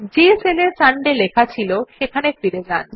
যে সেলে সান্ডে লেখা ছিল সেখানে ফিরে যান